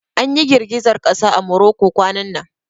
An ƴi girgizar kasa a Morocco kwanan nan.